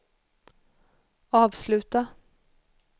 avsluta